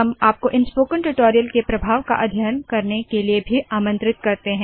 हम आपको इन स्पोकन ट्यूटोरियल के प्रभाव का अध्ययन करने के लिए भी आमंत्रित करते है